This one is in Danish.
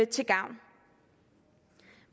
til gavn